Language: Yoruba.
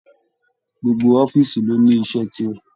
Gbogbo ọ̀fiísí ló ní iṣẹ tirẹ.